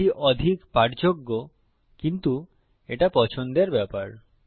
এটা অধিক পাঠযোগ্য কিন্তু এটা পছন্দের ব্যাপার